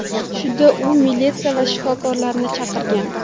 Shunda u militsiya va shifokorlarni chaqirgan.